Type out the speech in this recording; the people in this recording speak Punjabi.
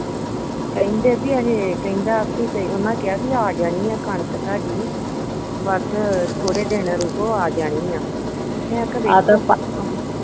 ਕਹਿੰਦੇ ਬਈ ਇਹ ਕਹਿੰਦਾ ਬਈ ਕਿ ਆ ਉਨ੍ਹਾਂ ਕਿਹਾ ਬਈ ਆ ਜਾਣੀ ਆ ਕਣਕ ਤੁਹਾਡੀ ਬਸ ਥੋੜੇ ਦਿਨ ਰੁਕੋ ਆ ਜਾਣੀ ਆ ਮੈਂ ਕਿਹਾ ਵੇਖ